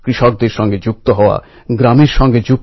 দেখনা হ্যায় জোর কিতনা বাজুএকাতিল মে হ্যায়